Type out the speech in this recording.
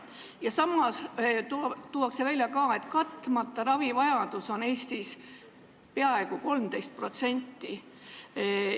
Ja samas tuuakse välja ka, et katmata ravivajadus on Eestis peaaegu 13%.